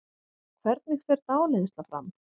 Hvernig fer dáleiðsla fram?